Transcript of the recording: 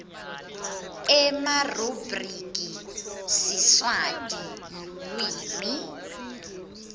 emarubhriki siswati lulwimi